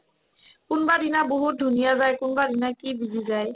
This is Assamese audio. কোনবাদিনা বহুত ধুনীয়া যায় কোনবাদিনাই কি busy যায়